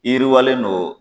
Yiriwalen don.